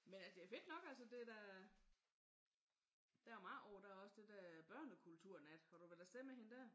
Men det er fedt nok altså det er da der er jo meget. Og der er også det der børnekulturnat. Var du vel afsted med hende der?